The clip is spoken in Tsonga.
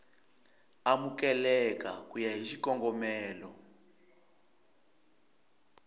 amukeleka ku ya hi xikongomelo